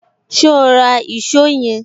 So ra èsó yen